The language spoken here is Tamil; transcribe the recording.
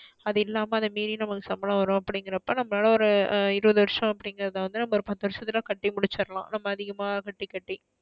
அது இல்லாம அதா மீறி நமக்கு சம்பளம் வரும் அப்டீங்கற அப்ப நம்ம லாலா ஒரு இருபது வருஷம் அப்டீங்கறத வந்து நம்ம ஒரு பத்து வருஷத்ல கட்டி முடிச்சிரலாம். ரொம்ப அதிகமா கட்டி கட்டி.